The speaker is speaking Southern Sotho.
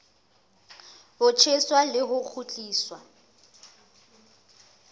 ho tjheswa le ho kgutliswa